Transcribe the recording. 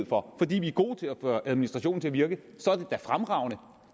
for fordi vi er gode til at få administrationen til at virke så er det da fremragende